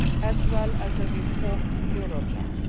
as well as a reformed Eurojust.